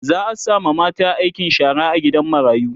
za'a sama mata aikin shara a gidan marayu